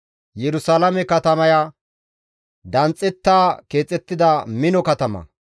Yerusalaame katamaya danxxetta keexettida mino katama.